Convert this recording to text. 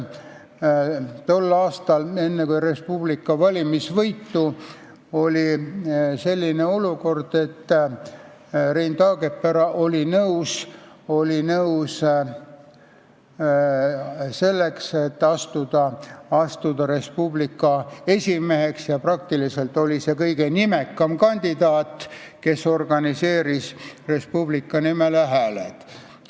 Tol aastal, enne Res Publica valimisvõitu, oli selline olukord, et Rein Taagepera oli nõus asuma Res Publica esimeheks ja ta oli kõige nimekam kandidaat, kes organiseeris Res Publicale hääled.